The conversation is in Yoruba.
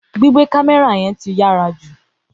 Gbígbé kámẹ́rà ti yàrá jù